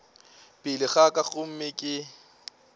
pele ga ka gomme ke